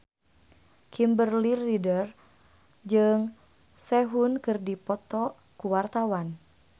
Kimberly Ryder jeung Sehun keur dipoto ku wartawan